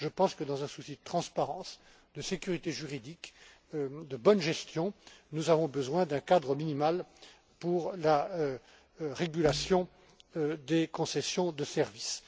Je pense que, dans un souci de transparence, de sécurité juridique, de bonne gestion, nous avons besoin d'un cadre minimal pour la régulation des concessions de services.